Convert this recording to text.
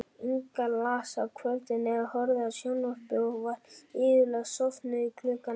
Inga las á kvöldin eða horfði á sjónvarp og var iðulega sofnuð klukkan ellefu.